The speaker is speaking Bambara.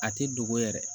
A ti dogo yɛrɛ